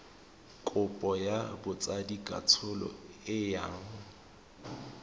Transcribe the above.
kopo ya botsadikatsholo e yang